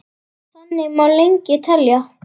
Þannig má lengi telja.